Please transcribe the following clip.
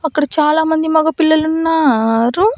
అక్కడ చాలామంది మగ పిల్లలున్నారు.